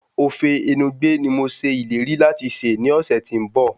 Ofe enugbe ni mo ṣe ìlérí láti sè ní ọ̀sẹ̀ tí ń bọ̀